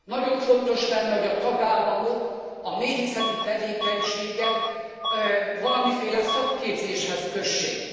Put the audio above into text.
Nagyon fontos lenne, hogy tagállamok a méhészeti tevékenységet valamiféle szakképzéshez kössék.